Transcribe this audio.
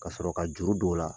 Ka sɔrɔ ka juru dɔw la.